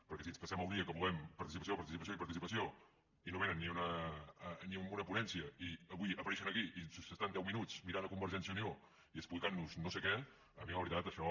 perquè si ens passem el dia que volem participació participació i participació i no vénen ni a una ponència i avui apareixen aquí i s’estan deu minuts mirant a convergència i unió i explicant nos no sé què a mi la veritat això